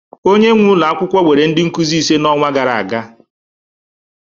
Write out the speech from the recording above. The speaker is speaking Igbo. Onye nwe ulọ akwụkwọ were ndị nkuzi ise n'ọnwa gara aga